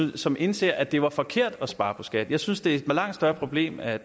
som indser at det var forkert at spare på skat jeg synes det er et langt større problem at